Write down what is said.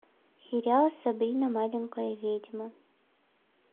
сериал сабрина маленькая ведьма